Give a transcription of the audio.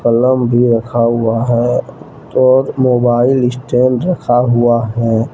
कलम भी रखा हुआ है और मोबाइल स्टैंड रखा हुआ है।